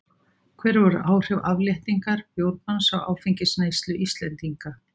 hver voru áhrif afléttingar bjórbanns á áfengisneyslu íslendinga